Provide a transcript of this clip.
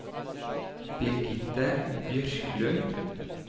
Birgitte Bjørklund